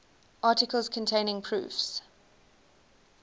articles containing proofs